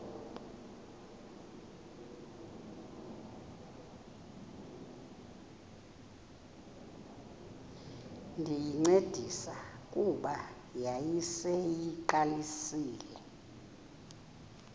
ndayincedisa kuba yayiseyiqalisile